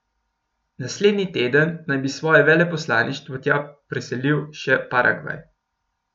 Naslednji teden naj bi svoje veleposlaništvo tja preselil še Paragvaj.